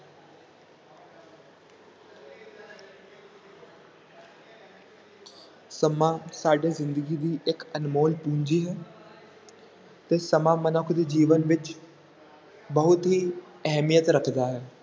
ਸਮਾਂ ਸਾਡੇ ਜ਼ਿੰਦਗੀ ਦੀ ਇੱਕ ਅਨਮੋਲ ਪੂੰਜੀ ਹੈ ਤੇ ਸਮਾਂ ਮਨੁੱਖ ਦੇ ਜੀਵਨ ਵਿੱਚ ਬਹੁਤ ਹੀ ਅਹਿਮੀਅਤ ਰੱਖਦਾ ਹੈ।